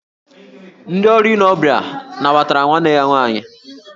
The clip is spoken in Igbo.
Ndị ọrụ ile ọbịa nabatara nwanne ya nwaanyị